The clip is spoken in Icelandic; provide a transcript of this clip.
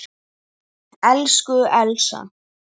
Elsku Elsa.